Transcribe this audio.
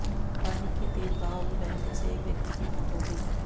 पानी के तेज बहाव में बहने से एक व्यक्ति की मौत हो गई